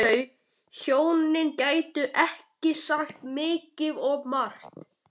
Um þau hjónin gæti ég sagt mikið og margt.